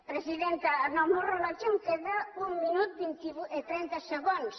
presidenta en el meu rellotge em queda un minut i trenta segons